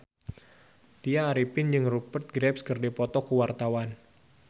Tya Arifin jeung Rupert Graves keur dipoto ku wartawan